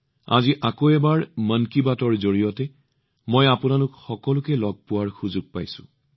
আজি আকৌ এবাৰ মন কী বাতৰ জৰিয়তে মই আপোনালোক সকলো পৰিয়ালৰ সদস্যক সাক্ষাৎ কৰাৰ সুযোগ পাইছো